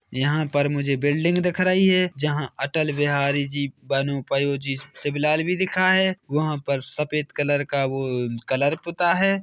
यहाँ पर मुझे बिल्डिंग दिख रही है जहा अटल बिहारी जी बनुपयोजी शिबलाल भी लिखा है वहाँ पर सफ़ेद कलर का वोओ कलर पुता है।